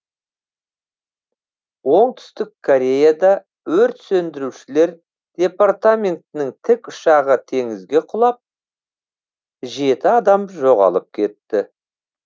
оңтүстік кореяда өрт сөндірушілер департаментінің тікұшағы теңізге құлап жеті адам жоғалып кетті